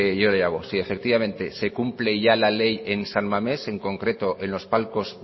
yo le hago si efectivamente se cumple ya la ley en san mamés en concreto en los palcos